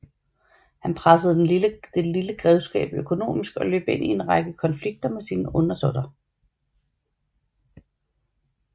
Han pressede den lille grevskab økonomisk og løb ind i en lang række konflikter med sine undersåtter